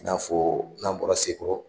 I n'a fɔ n'an bɔra Sekɔrɔ.